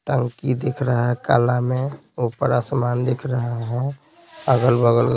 टंकी दिख रहा है काला में ऊपर आसमान दिख रहा है अगल-बगल--